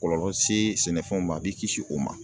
Kɔlɔlɔ se sɛnɛfɛnw ma ,a b'i kisi o ma.